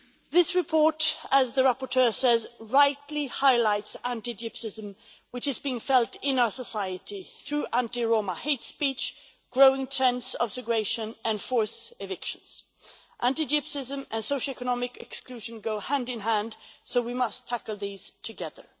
This report, as the rapporteur says, rightly highlights anti Gypsyism, which is being felt in our society through anti Roma hate speech, growing terms of segregation and forced evictions. Anti Gypsyism and socioeconomic exclusion go hand in hand, so we must tackle these together.